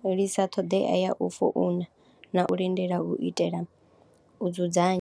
fhelisa ṱhoḓea ya u founa na u lindela u itela u dzudzanya.